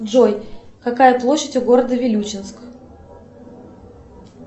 джой какая площадь у города вилючинск